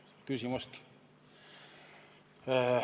Pole küsimustki!